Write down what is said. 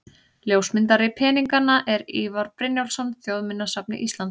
Ljósmyndari peninganna er Ívar Brynjólfsson, Þjóðminjasafni Íslands.